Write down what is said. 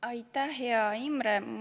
Aitäh, hea Imre!